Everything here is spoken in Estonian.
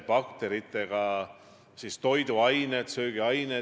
Ma arvan, et see on Eestile hea koalitsioon, parim tänases kontekstis.